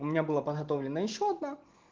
у меня была подготовлена ещё одна